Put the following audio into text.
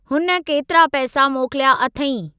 हुन केतिरा पैसा मोकिल्या अथईं?